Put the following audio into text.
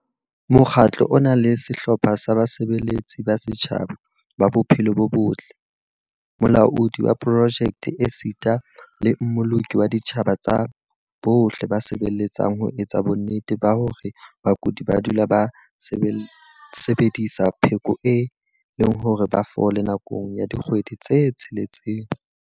Mokgatlo o na le sehlopha sa basebeletsi ba setjhaba ba bophelo bo botle, molaodi wa projeke esita le mmoloki wa dintlha tsa bohle ba sebeletsang ho etsa bonnete ba hore bakudi ba dula ba sebedisa pheko e le hore ba fole nakong ya dikgwedi tse tsheletseng.